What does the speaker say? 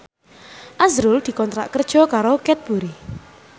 azrul dikontrak kerja karo Cadbury